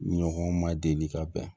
Ɲɔgɔn ma deli ka bɛn